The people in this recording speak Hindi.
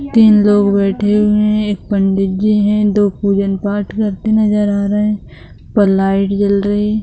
तीन लोग बैठे हुए है एक पंडी जी है दो पूजन पाठ करते नजर आ रहे हैं ऊपर लाइट जल रही --